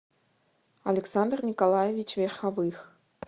александр николаевич верховых